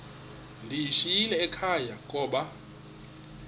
ndiyishiyile ekhaya koba